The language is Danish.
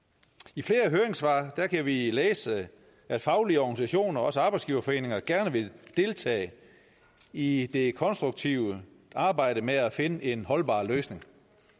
i flere af høringssvarene kan vi læse at faglige organisationer og også arbejdsgiverforeninger gerne vil deltage i det konstruktive arbejde med at finde en holdbar løsning